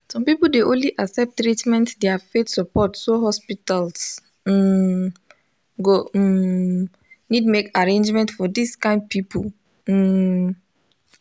some people dey only accept treatment their faith support so hospitals um go um need make arrangement for dis kind people. um